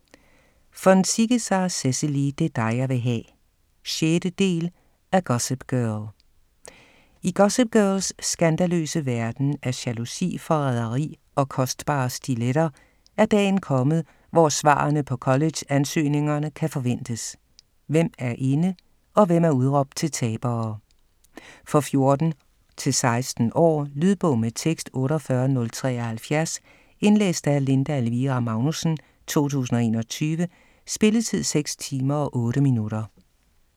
Von Ziegesar, Cecily: Det er dig jeg vil ha' 6. del af Gossip girl. I Gossip Girls skandaløse verden af jalousi, forræderi og kostbare stilletter, er dagen kommet, hvor svarene på college-ansøgningerne kan forventes: hvem er inde og hvem er udråbt til tabere. For 14-16 år. Lydbog med tekst 48073 Indlæst af Linda Elvira Magnussen, 2021. Spilletid: 6 timer, 8 minutter.